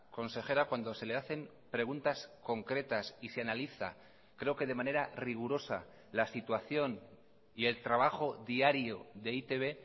consejera cuando se le hacen preguntas concretas y se analiza creo que de manera rigurosa la situación y el trabajo diario de e i te be